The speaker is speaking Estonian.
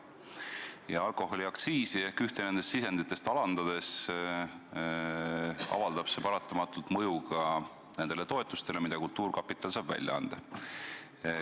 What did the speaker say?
Kui alkoholiaktsiisi ehk ühte nendest sisenditest vähendada, siis avaldab see paratamatut mõju ka nendele toetustele, mida kultuurkapital saab välja anda.